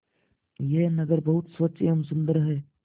यह नगर बहुत स्वच्छ एवं सुंदर है